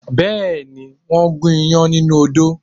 Bẹ́ẹ̀ ni, wọ́n gún iyán nínú odó